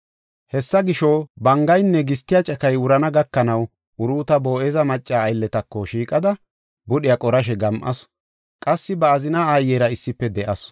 Hessa gisho, bangaynne gistiya cakay wurana gakanaw Uruuta Boo7eza macca aylletako shiiqada, budhiya qorashe gam7asu. Qassi ba azina aayera issife de7asu.